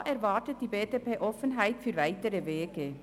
Diesbezüglich erwartet die BDP Offenheit für weitere Wege.